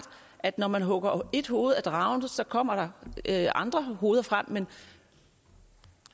at når man hugger ét hoved af dragen kommer der andre hoveder frem men